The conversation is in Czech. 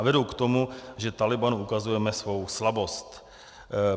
A vedou k tomu, že Tálibánu ukazujeme svou slabost.